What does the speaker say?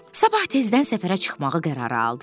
Sabah tezdən səfərə çıxmağı qərara aldılar.